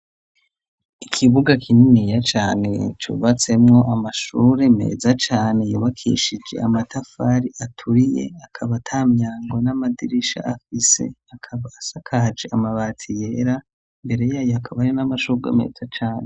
Ikibuga kininiya cane cubatsemwo amashure meza cane, yubakishije amatafari aturiye, akaba ata myango n'amadirisha afise, akaba asakaje amabati yera, imbere yayo hakaba hari n'amashure meza cane.